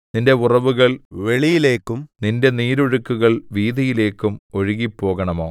നിന്റെ ഉറവുകൾ വെളിയിലേക്കും നിന്റെ നീരൊഴുക്കുകൾ വീഥിയിലേക്കും ഒഴുകിപ്പോകണമോ